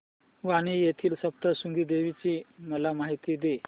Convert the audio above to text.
वणी येथील सप्तशृंगी देवी ची मला माहिती दे